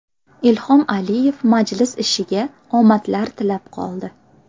Ilhom Aliyev majlis ishiga omadlar tilab qoldi.